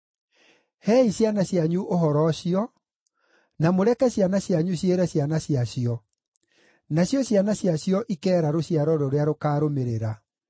Heei ciana cianyu ũhoro ũcio, na mũreke ciana cianyu ciĩre ciana ciacio, nacio ciana ciacio ikeera rũciaro rũrĩa rũkaarũmĩrĩra.